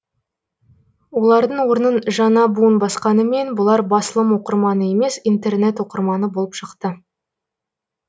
олардың орнын жаңа буын басқанымен бұлар басылым оқырманы емес интернет оқырманы болып шықты